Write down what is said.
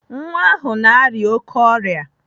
Nwa ahụ na-arịa oké ọrịa.